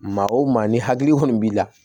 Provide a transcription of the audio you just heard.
Maa o maa ni hakili kɔni b'i la